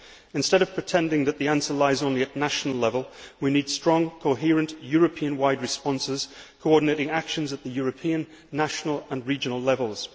Instead of pretending that the answer lies only at national level, we need strong, coherent, European wide responses, coordinating actions at the European, national and regional levels.